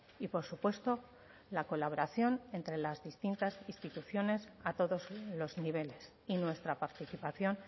y por supuesto la colaboración entre las distintas instituciones a todos los niveles y nuestra participación